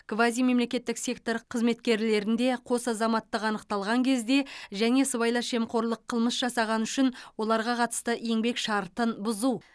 квазимемлекеттік сектор қызметкерлерінде қос азаматтық анықталған кезде және сыбайлас жемқорлық қылмыс жасағаны үшін оларға қатысты еңбек шартын бұзу